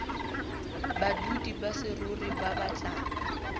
badudi ba saruri ba batlang